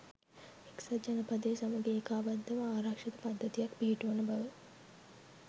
එක්සත් ජනපදය සමඟ ඒකාබද්ධ ව ආරක්‍ෂිත පද්ධතියක් පිහිටුවන බව